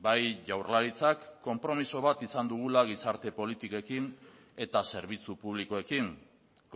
bai jaurlaritzak konpromiso bat izan dugula gizarte politikekin eta zerbitzu publikoekin